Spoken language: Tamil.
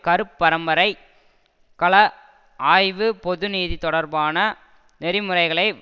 கருப்பரம்பரைக் கல ஆய்வு பொதுநிதி தொடர்பான நெறிமுறைகளை